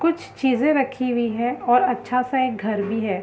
कुछ चीज़ रखी हुई हैं और अच्छा सा एक घर भी है।